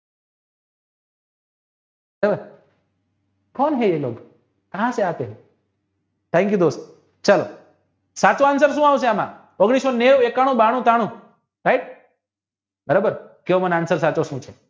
कोन है ये लोग कहा से आते हेthank you દોસ્તો, ચાલો સાચુ answer શુ આવશે. આમા ઓગણીસ સો નેવું, એકાણું, બાણું, ત્રાણું right બરાબર કેવો મને answer સાચો શું છે.